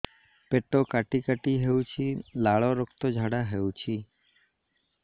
ପେଟ କାଟି କାଟି ହେଉଛି ଲାଳ ରକ୍ତ ଝାଡା ହେଉଛି